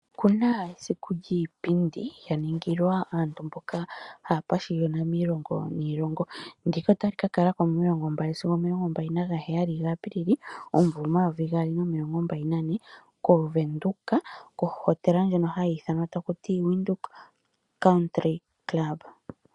Oku na esiku lyiipindi lya ningilwa aantu mboka haa pashiyona miilongo niilongo. Ndika ota li ka kala ko momasiku omilongo mbali nagane sigo omilongo mbali nagaheyali gaApilili omumvo 2024 kOvenduka kohotela ndjono hayi ithanwa taku to Windhoek Country Club.